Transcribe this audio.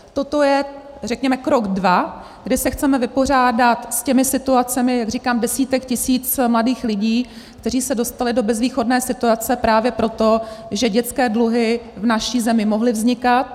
Toto je, řekněme, krok dva, kdy se chceme vypořádat s těmi situacemi, jak říkám, desítek tisíc mladých lidí, kteří se dostali do bezvýchodné situace právě proto, že dětské dluhy v naší zemi mohly vznikat.